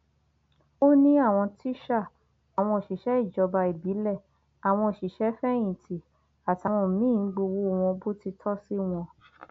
wọn ní akẹkọọ lòun náà níléèwé ó sì ga níwọn ẹsẹ bàtà márùnún àti díẹ náà ni